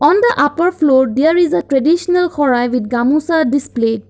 on the upper floor there is a traditional core i with gamusa display.